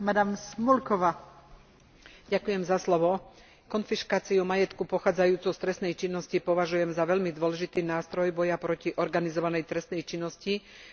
Konfiškáciu majetku pochádzajúcej z trestnej činnosti považujem za veľmi dôležitý nástroj boja proti organizovanej trestnej činnosti, ktorá nadobúda v rámci Európskej únie čoraz väčší rozmer.